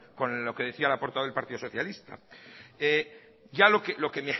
con lo que decía la portavoz del partido socialista ya lo que